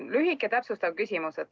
Mul on lühike täpsustav küsimus.